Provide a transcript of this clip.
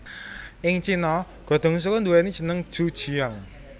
Ing Cina godhong suruh nduwèni jeneng ju jiang